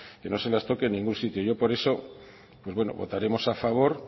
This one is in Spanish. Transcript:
que no se las toque en ningún sitio yo por eso pues bueno votaremos a favor